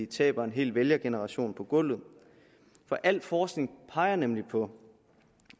tabe en hel vælgergeneration på gulvet al forskning peger nemlig på